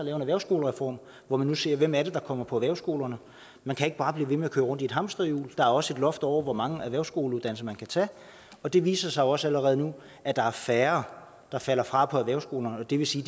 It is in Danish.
en erhvervsskolereform hvor vi nu siger hvem er det der kommer på erhvervsskolerne man kan ikke bare blive ved med at køre rundt i et hamsterhjul og der er også et loft over hvor mange erhvervsskoleuddannelser man kan tage og det viser sig jo også allerede nu at der er færre der falder fra på erhvervsskolerne og det vil sige